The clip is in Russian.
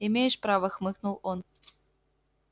имеешь право хмыкнул он